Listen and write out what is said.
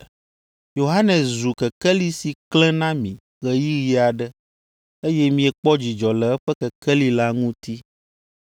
Yohanes zu kekeli si klẽ na mi ɣeyiɣi aɖe, eye miekpɔ dzidzɔ le eƒe kekeli la ŋuti.